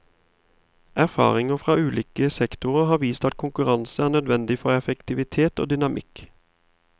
Erfaring fra ulike sektorer har vist at konkurranse er nødvendig for effektivitet og dynamikk.